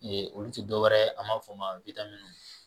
Ee olu tɛ dɔwɛrɛ a b'a fɔ o ma